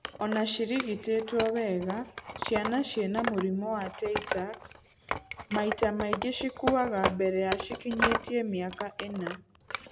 Ona cirigitĩtwo wega, ciana ciina mũrimũ wa Tay Sachs maita maingĩ cikuaga mbere ya cikinyĩtie mĩaka ĩna.